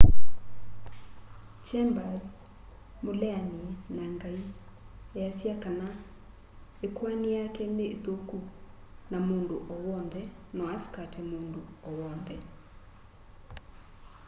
chambers mũleani na ngai easya kana ĩkũani yake nĩ ĩthũku na mũndũ o wonthe no asikate mũndũ o wonthe